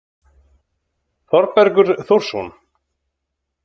Þorbergur Þórsson.